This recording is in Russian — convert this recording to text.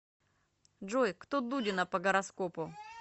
джой кто дудина по гороскопу